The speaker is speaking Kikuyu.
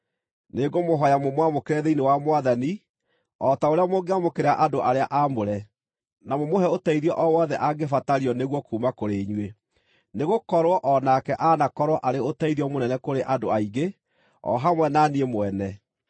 Nĩngũmũhooya mũmwamũkĩre thĩinĩ wa Mwathani o ta ũrĩa mũngĩamũkĩra andũ arĩa aamũre, na mũmũhe ũteithio o wothe angĩbatario nĩguo kuuma kũrĩ inyuĩ, nĩgũkorwo o nake anakorwo arĩ ũteithio mũnene kũrĩ andũ aingĩ, o hamwe na niĩ mwene.